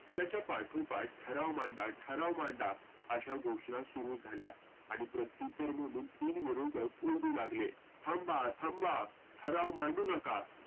त्याच्या पाठोपाठ ठराव मांडा ठराव मांडा अशा घोषना सुरू झाल्या. आणि प्रत्योत्तर म्हणून तीन विरोधक ओरडू लागले. थांवा थांबा ठराव मांडू नका